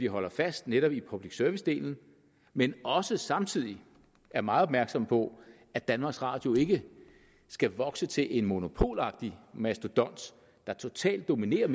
holder fast netop i public service delen men samtidig er meget opmærksomme på at danmarks radio ikke skal vokse til en monopolagtig mastodont der totalt dominerer